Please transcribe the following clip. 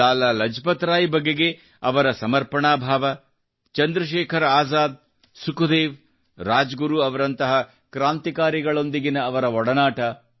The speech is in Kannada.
ಲಾಲಾ ಲಜಪತ್ರಾಯ್ ಬಗೆಗೆ ಅವರ ಸಮರ್ಪಣಾ ಭಾವ ಚಂದ್ರಶೇಖರ ಅಜಾದ್ ಸುಖದೇವ್ ರಾಜಗುರು ಅವರಂಥ ಕ್ರಾಂತಿಕಾರಿಗಳೊಂದಿಗಿನ ಅವರ ಒಡನಾಟ